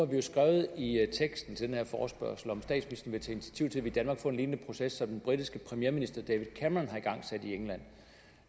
vi jo skrevet i teksten til den her forespørgsel om tage initiativ i danmark får en proces lig den britiske premierminister david cameron har igangsat i england